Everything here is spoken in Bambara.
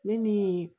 Ne ni